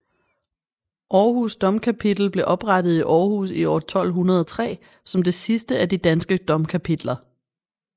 Århus Domkapitel blev oprettet i Aarhus i år 1203 som det sidste af de danske domkapitler